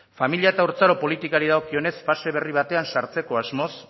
familia eta haurtzaro politikari dagokionez fase berri batean sartzeko asmoz